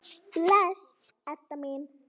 Bless, Edda mín.